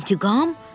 İntiqam?